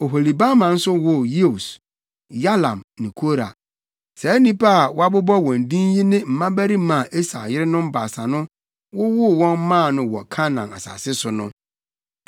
Oholibama nso woo Yeus, Yalam ne Kora. Saa nnipa a wɔabobɔ wɔn din yi ne mmabarima a Esau yerenom baasa no wowoo wɔn maa no wɔ Kanaan asase so no.